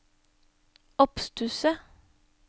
oppstusset